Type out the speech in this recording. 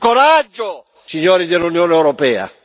Ci vuole più coraggio, signori dell'Unione europea!